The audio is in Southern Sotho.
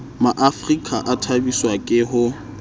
maafrika a thabiswa ke ho